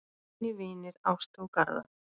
Þínir vinir Ásta og Garðar.